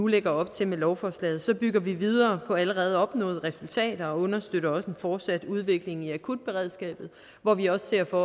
lægger op til med lovforslaget bygger vi videre på allerede opnåede resultater og understøtter også en fortsat udvikling i akutberedskabet hvor vi også ser for